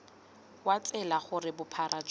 wa tsela gore bophara jwa